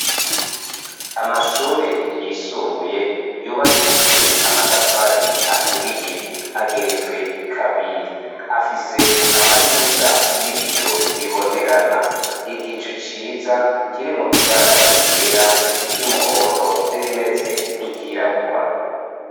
Amashure yisumbuye yubakishijwe amatafari aturiye ageretswe kabiri afise amadirisha y'ibiyo bibonerana. Igicu ciza kirimwo ibara ryera, iry'umuhondo n'irimeze nk'iryirabura.